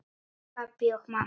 Pabbi og mamma.